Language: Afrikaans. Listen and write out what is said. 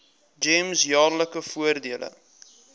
gems jaarlikse voordele